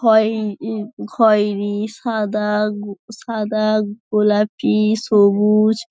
খয় ও খয়েরি সাদা গ সাদা গোলাপি সবুজ।